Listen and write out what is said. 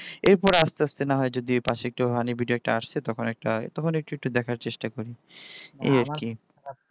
এরপর আস্তে আস্তে না হয় যদি পশে একটু funny video একটা আছে তখন একটা হয় তখন একটু একটু দেখার চেষ্টা করি তাহলে দেখাতে পার এই আর কি । আমার যদি মন খারাপ হয় ফানি ভিডিও দেখি বিশেষ করে গান শুনি